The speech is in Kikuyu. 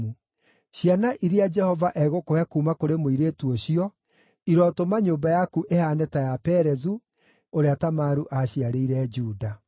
Ciana iria Jehova egũkũhe kuuma kũrĩ mũirĩtu ũcio irotũma nyũmba yaku ĩhaane ta ya Perezu, ũrĩa Tamaru aaciarĩire Juda.”